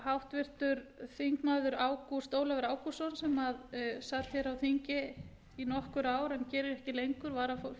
háttvirtir þingmenn ágúst ólafur ágústsson sem sat hér á þingi í nokkur ár en gerir ekki lengur fyrrverandi varaformaður